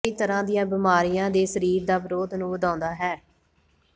ਕਈ ਤਰ੍ਹਾਂ ਦੀਆਂ ਬਿਮਾਰੀਆਂ ਦੇ ਸਰੀਰ ਦੇ ਵਿਰੋਧ ਨੂੰ ਵਧਾਉਂਦਾ ਹੈ